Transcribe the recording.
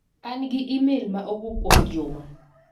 An an gi imel ma owuok kuom Juma.